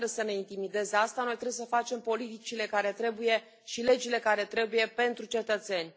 Dar nu trebuie să ne intimideze asta, noi trebuie să facem politicile care trebuie și legile care trebuie pentru cetățeni.